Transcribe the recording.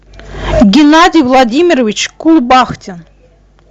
геннадий владимирович кубахтин